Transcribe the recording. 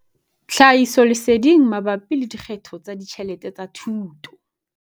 Tlhahisoleseding mabapi le dikgetho tsa ditjhelete tsa thuto.